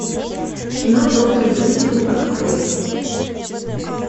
кино доктор дулиттл открой